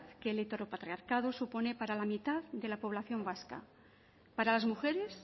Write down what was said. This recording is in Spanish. que el heteropatriarcado supone para la mitad de la población vasca para las mujeres